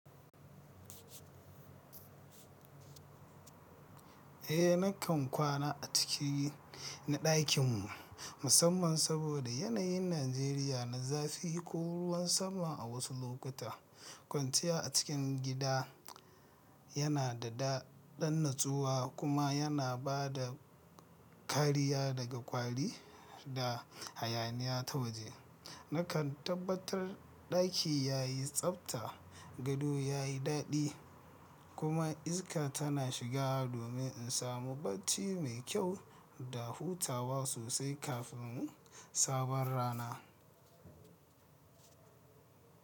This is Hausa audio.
Eh, nakan kwana a ciki na ɗakin mu musamman saboda yanayin Najeriya na zafi ko ruwan sama a wasu lokuta. Kwanciya a cikin gida yana da ɗan natsuwa kuma yana ba da kariya daga kwari da hayaniya ta waje. Nakan tabbatar ɗaki yayi tsafta, gado yayi dadi kuma iska tana shiga domin in samu bacci mai kyau da hutawa sosai kafin sabon rana.